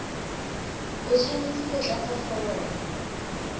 o tshwanetse go tlatsa foromo